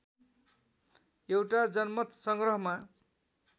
एउटा जनमत संग्रहमा